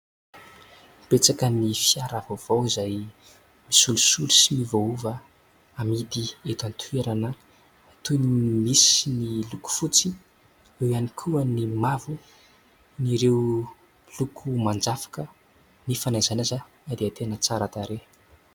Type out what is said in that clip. Betsaka ny fiara vaovao izay misolosolo sy miovaova amidy eto an-toerana toy ny misy ny loko fotsy, eo ihany koa ny mavo, ireo loko manjafoka nefa na aiza na aiza dia tena tsara tarehy.